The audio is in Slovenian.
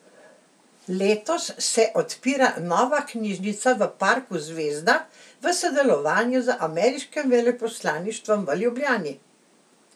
Letos se odpira nova knjižnica v parku Zvezda v sodelovanju z ameriškim veleposlaništvom v Ljubljani.